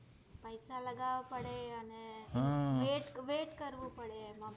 પૈસા લગાડવા પડે અને wait wait કરવો પડે